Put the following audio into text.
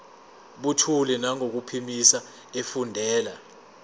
buthule nangokuphimisa efundela